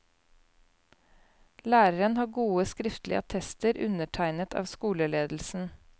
Læreren har gode skriftlige attester undertegnet av skoleledelsen.